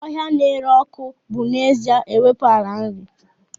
Bush na-ere ọkụ bụ n'ezie na-ewepụ ala nri.